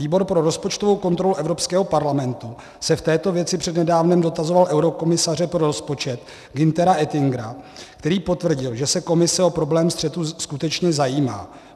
Výbor pro rozpočtovou kontrolu Evropského parlamentu se v této věci před nedávnem dotazoval eurokomisaře pro rozpočet Günthera Oettingera, který potvrdil, že se Komise o problém střetu skutečně zajímá.